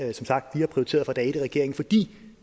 vi som sagt har prioriteret fra dag et i regeringen fordi